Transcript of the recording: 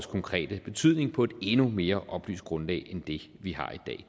konkrete betydning på et endnu mere oplyst grundlag end det vi har i